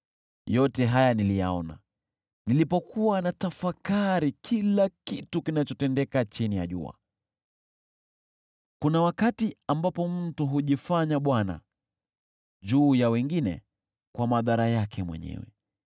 Yote haya niliyaona, nilipokuwa natafakari kila kitu kinachotendeka chini ya jua. Kuna wakati ambapo mtu hujifanya bwana juu ya wengine kwa madhara yake mwenyewe.